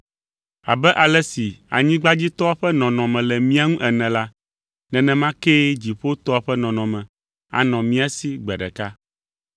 Abe ale si anyigbadzitɔa ƒe nɔnɔme le mía ŋu la, nenema kee dziƒotɔa ƒe nɔnɔme anɔ mía si gbe ɖeka.